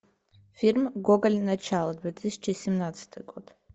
фильм гоголь начало две тысячи семнадцатый год